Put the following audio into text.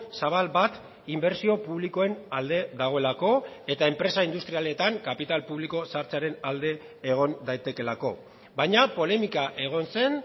zabal bat inbertsio publikoen alde dagoelako eta enpresa industrialetan kapital publiko sartzearen alde egon daitekeelako baina polemika egon zen